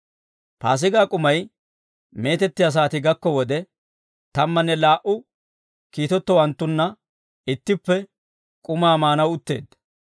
Paasigaa k'umay meetettiyaa saatii gakko wode, tammanne laa"u kiitettowanttunna ittippe k'umaa maanaw utteedda.